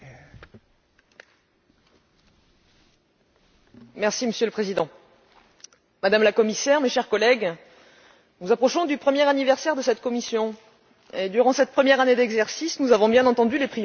Madame la Commissaire, mes chers collègues, nous approchons du premier anniversaire de cette Commission et, durant cette première année d'exercice, nous avons bien entendu les priorités que vous avez définies soutien aux PME, renforcement de la compétitivité, emploi.